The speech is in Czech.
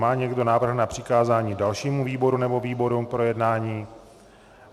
Má někdo návrh na přikázání dalšímu výboru nebo výborům k projednání?